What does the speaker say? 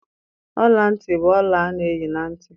Ọla ntị bụ ọla a na-eyi na ntị.